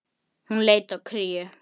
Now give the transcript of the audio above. Upphaf sögu hans.